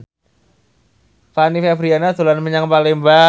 Fanny Fabriana dolan menyang Palembang